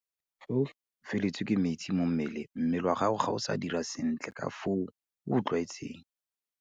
Fa o feletswe ke metsi mo mmeleng, mmele wa gago ga o sa dira sentle ka fao o o tlwaetseng.